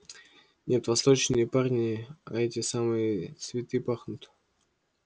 нет восточные парни а эти самые цветы пахнут